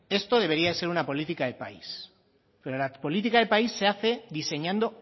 esto debería ser una política de país pero la política de país se hace diseñando